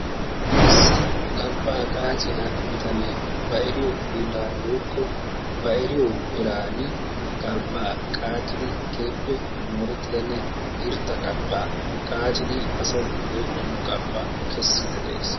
Issi galbbaa qaacciya bitanee ba eriyo hiillaaran woykko ba eriyo eraan galbbaa qaaccidi keehippe moorettidanne irxxa galbbaa qaaxxidi asay go'ettiyo galbbaa kessiidi de'ees.